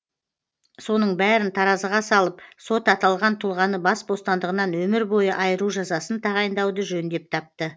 соның бәрін таразыға салып сот аталған тұлғаны бас бостандығынан өмір бойы айыру жазасын тағайындауды жөн деп тапты